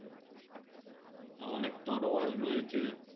অনেক তরোয়াল রয়েছে।